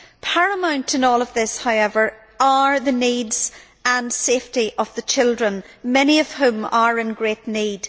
Paramount in all of this, however, are the needs and safety of the children, many of whom are in great need.